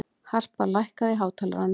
Harpa, lækkaðu í hátalaranum.